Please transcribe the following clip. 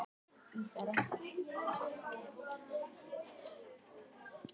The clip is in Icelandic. Er það toppari eða ísari?